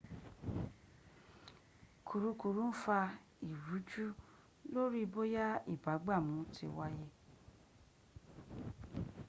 kùrukùru ń fa ìrújú lórí bóyá ìbúgbàmù ti wáyé